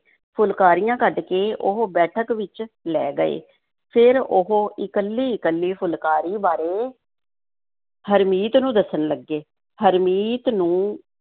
ਫੁਲਕਾਰੀਆਂ ਕੱਢ ਕੇ ਉਹ ਬੈਠਕ ਵਿੱਚ ਲੈ ਗਏ, ਫਿਰ ਉਹ ਇਕੱਲੀ-ਇਕੱਲੀ ਫੁਲਕਾਰੀ ਬਾਰੇ ਹਰਮੀਤ ਨੂੰ ਦੱਸਣ ਲੱਗੇ, ਹਰਮੀਤ ਨੂੰ